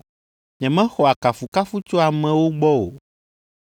“Nyemexɔa kafukafu tso amewo gbɔ o,